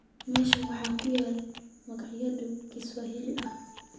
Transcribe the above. meeshan waxaa ku yaal maqaayado Kiswahili ah